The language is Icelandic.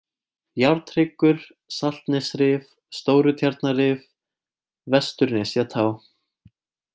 Járnhryggur, Saltnesrif, Stórutjarnarrif, Vesturnesjatá